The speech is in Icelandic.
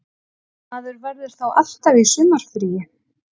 Maður verður þá alltaf í sumarfríi